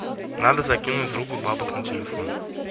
надо закинуть другу бабок на телефон